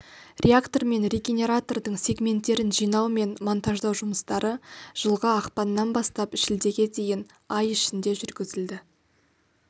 реактор мен регенератордың сегменттерін жинау мен монтаждау жұмыстары жылғы ақпаннан бастап шілдеге дейін ай ішінде жүргізілді